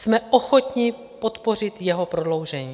Jsme ochotni podpořit jeho prodloužení.